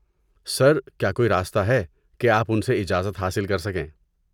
سر، کیا کوئی راستہ ہے کہ آپ ان سے اجازت حاصل کر سکیں؟